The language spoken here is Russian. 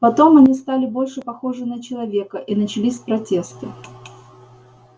потом они стали больше похожи на человека и начались протесты